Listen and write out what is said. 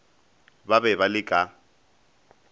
ba be ba le ka